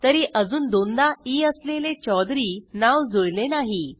तरी अजून दोनदा ई असलेले चौधुरी नाव जुळले नाही